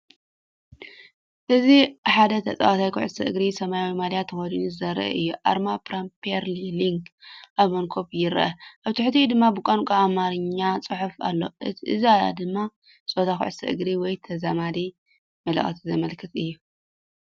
እዚ ሓደ ተጻዋታይ ኩዕሶ እግሪ ሰማያዊ ማልያ ተኸዲኑ ዘርኢ እዩ፤ ኣርማ ፕሪምየር ሊግ ኣብ መንኵብ ይርአ፣ ኣብ ትሕቲኡ ድማ ብቋንቋ ኣምሓርኛ ጽሑፍ ኣሎ። እዚ ድማ ጸወታ ኩዕሶ እግሪ ወይ ተዛማዲ መልእኽቲ ዘመልክት እዩ።